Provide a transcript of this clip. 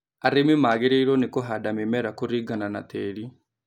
Arĩmi magĩrĩirwo ni kũhanda mĩmera kũringana na tĩri